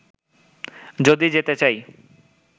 যদি যেতে চাই